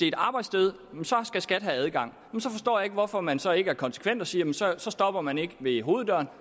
et arbejdssted skal skat have adgang så forstår jeg ikke hvorfor man så ikke er konsekvent og siger at så stopper man ikke ved hoveddøren